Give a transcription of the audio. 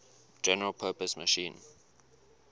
general purpose machine